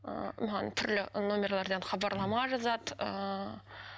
ыыы маған түрлі номерлардан хабарлама жазады ыыы